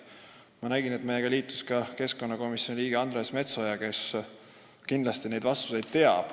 Ma nägin, et meiega liitus keskkonnakomisjoni liige Andres Metsoja, kes kindlasti teab neid vastuseid.